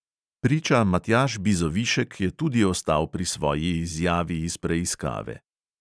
Priča matjaž bizovišek je tudi ostal pri svoji izjavi iz preiskave.